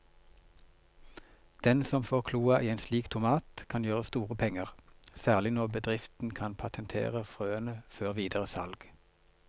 Den som får kloa i en slik tomat kan gjøre store penger, særlig når bedriften kan patentere frøene før videre salg.